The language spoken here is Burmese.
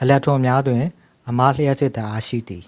အီလက်ထရွန်များတွင် အမလျှပ်စစ်ဓာတ်အား ရှိသည်